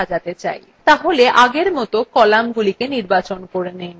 তাহলে আগের মত কলামগুলি নির্বাচন করে so